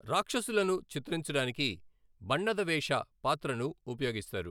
రాక్షసులను చిత్రించడానికి 'బణ్ణద వేష' పాత్రను ఉపయోగిస్తారు.